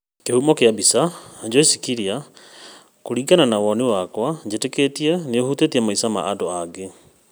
Kĩhumo kĩa mbica, Joyce Kiria. Kũringana na woni wakwa njĩtĩkĩtie nĩhutĩtie maica ma andũ aingĩ